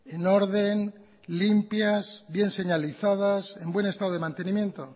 en orden limpias bien señalizadas en buen estado de mantenimiento